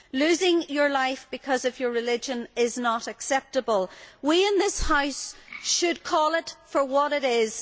Losing your life because of your religion is not acceptable. We in this House should call it for what it is.